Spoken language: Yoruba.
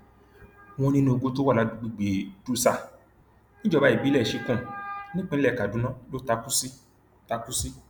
wọn ní inú igbó tó wà lágbègbè dutsa níjọba ìbílẹchikum nípínlẹ kaduna ló takú sí takú sí